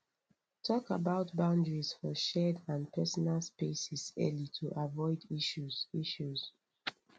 talk about boundaries for shared and personal spaces early to avoid issues issues